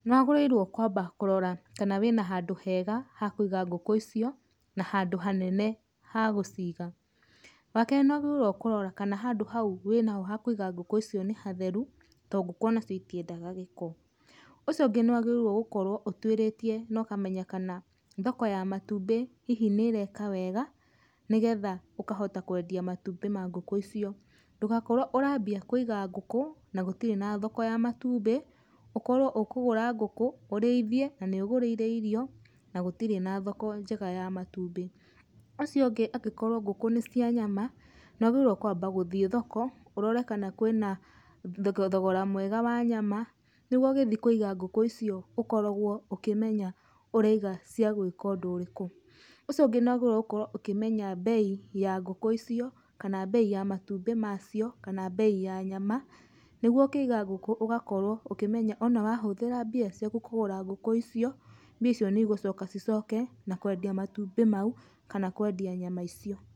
Nĩ wagĩrĩirwo kwamba kũrora kana wĩna handũ hega ha kũiga ngũkũ icio, na handũ hanene ha gũciga. Wa kerĩ nĩ wagĩrĩirwo kũrora kana handũ hau wĩnaho ha kũiga ngũkũ icio nĩ hatheru, to ngũkũ ũnacio itiendaga gĩko. Ũcio ũngĩ nĩ wagĩrĩirwo gũkorwo ũtwĩrĩtie na ũkamenya kana thoko ya matumbĩ hihi nĩ ĩreka wega, nĩgetha ũkahota kwendia matumbĩ ma ngũkũ icio. Ndũgakorwo ũrambia kũiga ngũkũ, na gũtirĩ na thoko ya matumbĩ, ũkorwo ũkũgũra ngũkũ, ũrĩithie na nĩ ũgũrĩire irio, na gũtirĩ na thoko njega ya matumbĩ. Ũcio ũngĩ angĩkorwo ngũkũ nĩ cia nyama, nĩ wagĩrĩirwo kwamba gũthiĩ thoko, ũrore kana kwĩna thogora mwega wa nyama nĩguo ũgĩthiĩ kũiga ngũkũ icio ũkoragwo ũkĩmenya ũraiga cia gwĩka ũndũ ũrĩku. Ũcio ũngĩ nĩ wagĩrĩirwo gũkorwo ũkĩmenya mbei ya ngũkũ icio, kana mbei ya matumbĩ macio, kana mbei ya nyama, nĩguo ũkĩiga ngũkũ ũgakorwo ũkĩmenya ũnawahũthĩra mbia ciaku kũgũra ngũkũ icio, mbia icio nĩ igũcoka cicoke, na kwendia matumbĩ mau, kana kwendia nyama icio.